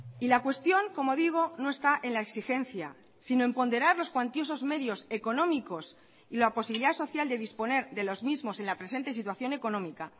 y la cuestión como digo no está en la exigencia sino en ponderar los cuantiosos medios económicos y la posibilidad social de disponer de los mismos en la presente situación económica